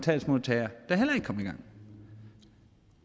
i gang